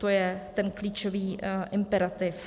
To je ten klíčový imperativ.